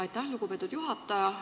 Aitäh, lugupeetud juhataja!